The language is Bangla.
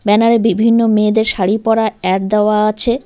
ব্যানার -এ বিভিন্ন মেয়েদের শাড়ি পরা অ্যাড দেওয়া আছে।